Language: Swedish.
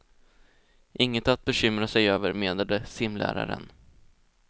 Inget att bekymra sig över, menade simläraren.